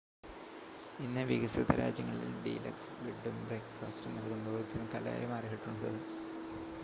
ഇന്ന് വികസിത രാജ്യങ്ങളിൽ ഡീലക്സ് ബെഡും ബ്രേക്ക്ഫാസ്റ്റും നൽകുന്നത് ഒരുതരം കലയായി മാറിയിട്ടുണ്ട്